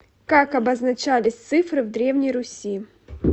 как обозначались цифры в древней руси